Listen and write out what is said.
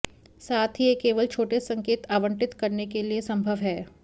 साथ ही यह केवल छोटे संकेत आवंटित करने के लिए संभव है